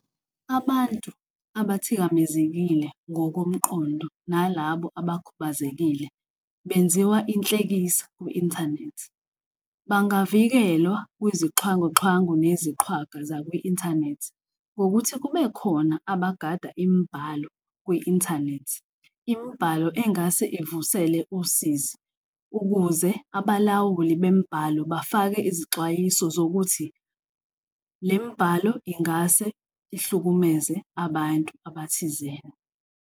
Abantu abathikamezekile ngokomqondo nalabo abakhubazekile benziwa inhlekisa kwi-inthanethi. Bangavikelwa kwizixhwanguxhwangu neziqhwaga zakwi-inthanethi ngokuthi kubekhona abagada imibhalo kwi-inthanethi, imibhalo engase ivusele usizi ukuze abalawuli bemibhalo bafake izixwayiso zokuthi le mbhalo ingase ihlukumeze abantu abathizeni.